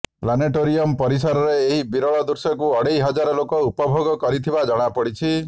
planetarium ପରିସରରେ ଏହି ବିରଳ ଦୃଶ୍ୟକୁ ଅଢ଼େଇ ହଜାର ଲୋକ ଉପଭୋଗ କରିଥିବା ଜଣାପଡ଼ିଛି